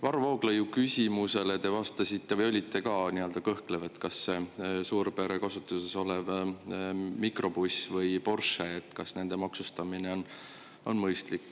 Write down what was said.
Varro Vooglaiu küsimusele te vastasite kõhklevalt, kui ta küsis, kas suurpere kasutuses oleva mikrobussi kui näiteks Porschel on mõistlik.